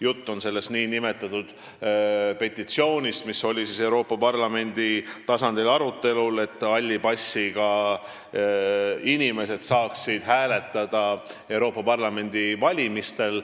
Jutt on sellest nn petitsioonist, mis oli Euroopa Parlamendi tasandil arutelul, et halli passiga inimesed saaksid hääletada Euroopa Parlamendi valimistel.